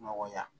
Nɔgɔya